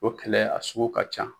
O kɛlɛ a sugu ka can.